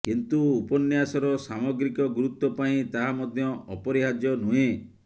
କିନ୍ତୁ ଉପନ୍ୟାସର ସାମଗ୍ରିକ ଗୁରୁତ୍ୱ ପାଇଁ ତାହା ମଧ୍ୟ ଅପରିହାର୍ଯ୍ୟ ନୁହେଁ